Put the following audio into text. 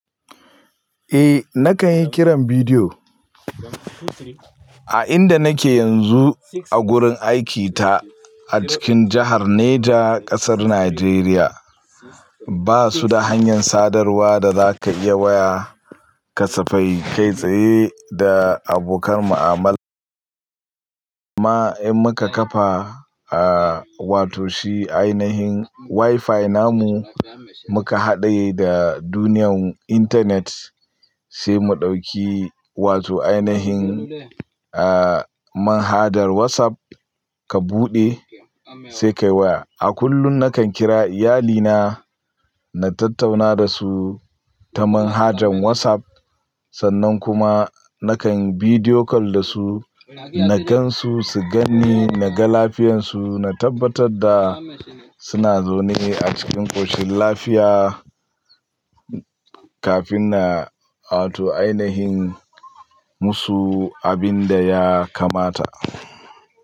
Eh nakan yi kiran bidiyo. A inda nake yanzu a gurin aikita a cikin jahar Neja ƙasar Najeriya, basu da hanyar sadarwa da za ka iya waya kasafai kai tsaye da abokan mu'amala. Amman in muka kafa aa wato shi ainihin WiFi namu muka haɗaye da duniyyan intanet sai mu ɗauki wato ainihin aa manhajar WhatsApp ka buɗe sai ka yi waya. A kullum nakan kira iyalina na tattauna da su ta manhajan WhatsApp sannan kuma nakan bidiyo call da su, na gansu su ganni, naga lafiyansu, na tabbatar da suna zaune a cikin ƙoshin lafiya kafin na wato ainihin musu abin da ya kamata.